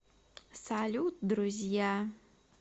салют друзья